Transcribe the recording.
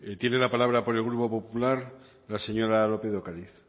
tiene la palabra por el grupo popular la señora lópez de ocariz